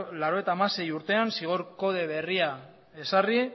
laurogeita hamaseigarrena urtean zigor kode berria ezarri